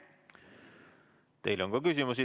Teile on ka küsimusi.